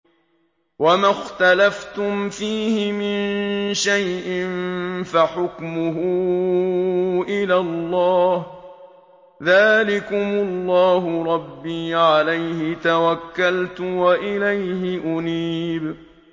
وَمَا اخْتَلَفْتُمْ فِيهِ مِن شَيْءٍ فَحُكْمُهُ إِلَى اللَّهِ ۚ ذَٰلِكُمُ اللَّهُ رَبِّي عَلَيْهِ تَوَكَّلْتُ وَإِلَيْهِ أُنِيبُ